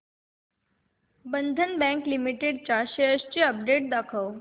बंधन bank limited च्या shares ची update दाखव